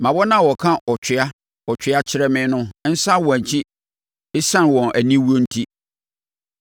Ma wɔn a wɔka, “Ɔtwea! Ɔtwea!” kyerɛ me no nsane wɔn akyi ɛsiane wɔn aniwuo enti.